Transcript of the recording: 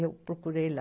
Eu procurei lá.